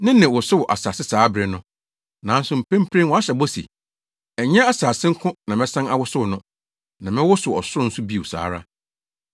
Ne nne wosow asase saa bere no, nanso mprempren wahyɛ bɔ se, “Ɛnyɛ asase nko na mɛsan awosow no, na mɛwosow ɔsoro nso bio saa ara.”